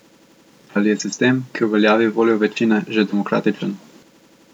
Ali je sistem, ki uveljavi voljo večine, že demokratičen?